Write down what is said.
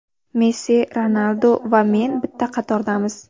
Messi, Ronaldu va men bitta qatordamiz.